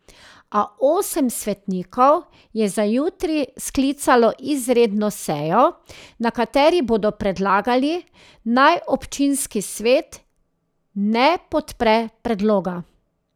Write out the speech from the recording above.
A osem svetnikov je za jutri sklicalo izredno sejo, na kateri bodo predlagali, naj občinski svet ne podpre predloga.